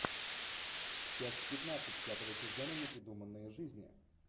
часть пятнадцать пятого сезона непридуманные жизни